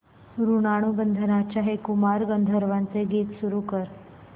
ऋणानुबंधाच्या हे कुमार गंधर्वांचे गीत सुरू कर